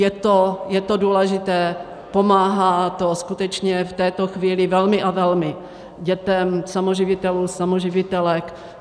Je to důležité, pomáhá to skutečně v této chvíli velmi a velmi dětem samoživitelů, samoživitelek.